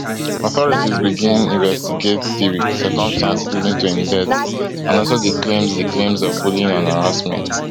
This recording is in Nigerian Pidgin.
authorities begin investigate di circumstances leading to im death and also di claims di claims of bullying and harassment